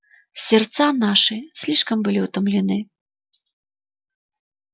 сердца наши слишком были утомлены